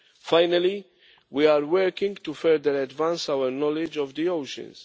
Finally, we are working to further advance our knowledge of the oceans.